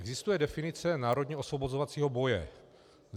Existuje definice národně osvobozovacího boje.